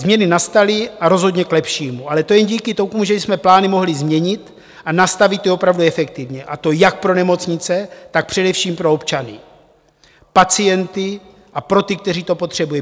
Změny nastaly a rozhodně k lepšímu, ale to jen díky tomu, že jsme plány mohli změnit a nastavit je opravdu efektivně, a to jak pro nemocnice, tak především pro občany, pacienty a pro ty, kteří to potřebují.